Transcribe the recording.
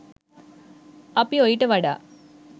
අපි ඔයිට වඩා